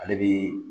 Ale bi